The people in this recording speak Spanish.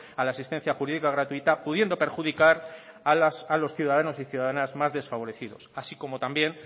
a la asistencia jurídica gratuita pudiendo perjudicar a los ciudadanos y ciudadanas más desfavorecidos así como también